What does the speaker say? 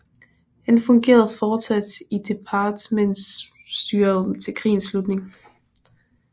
Han fungerede fortsat i departementschefstyret til krigens slutning